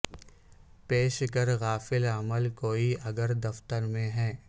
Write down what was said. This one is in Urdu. پیش کر غافل عمل کوئی اگر دفتر میں ہے